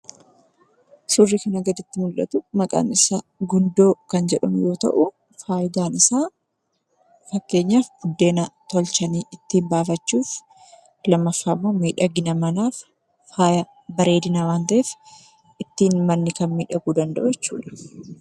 Suurri kanaa gaditti mul'atu maqaan isaa Gundoo kan jedhamu yoo ta'u, faayidaan isaa fakkeenyaaf, buddeena tolchanii itti baafachuuf. lammaffaammoo miidhagina manaaf faaya bareedina waan ta'eef ittiin manni kan miidhaguu danda'u jechuudha.